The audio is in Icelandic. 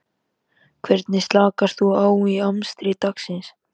Hvernig slakar þú á í amstri dagsins?